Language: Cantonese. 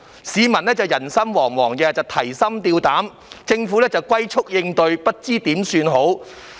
市民人心惶惶，提心吊膽，但政府則"龜速"應對，束手無策。